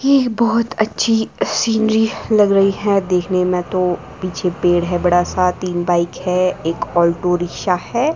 येह बहोत अच्छी सीनरी लग रही है देखने में तो पीछे पेड़ है बड़ा सा तीन बाइक है एक अल्टो रिक्शा है।